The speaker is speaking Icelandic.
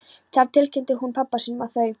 Þar tilkynnti hún pabba sínum, að þau